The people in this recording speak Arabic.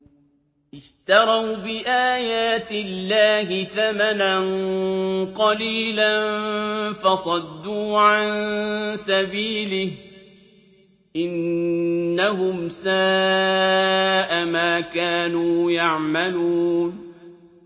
اشْتَرَوْا بِآيَاتِ اللَّهِ ثَمَنًا قَلِيلًا فَصَدُّوا عَن سَبِيلِهِ ۚ إِنَّهُمْ سَاءَ مَا كَانُوا يَعْمَلُونَ